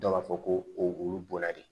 Dɔw b'a fɔ ko olu bɔra de